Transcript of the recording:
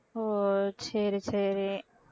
ஓ சரி சரி